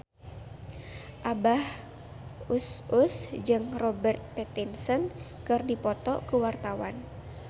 Abah Us Us jeung Robert Pattinson keur dipoto ku wartawan